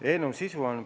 Eelnõu sisu on järgmine.